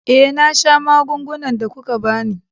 Eh, na sha magungunan da kuka ba ni.